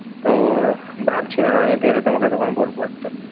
তো ভাবছিলাম। আমি ভেবে তোমাকে তখন বলবো একটা।